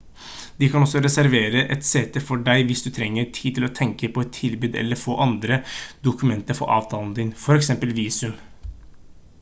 de kan også reservere et sete for deg hvis du trenger tid til å tenke på et tilbud eller få andre dokumenter for avtalen din for eksempel visum